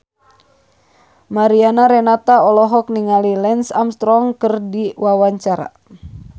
Mariana Renata olohok ningali Lance Armstrong keur diwawancara